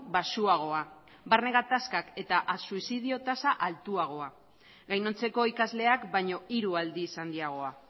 baxuagoa barne gatazkak eta suizidio tasa altuagoa gainontzeko ikasleak baino hiru aldiz handiagoa